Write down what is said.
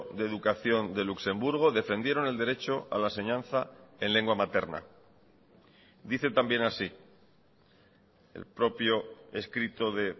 de educación de luxemburgo defendieron el derecho a la enseñanza en lengua materna dice también así el propio escrito de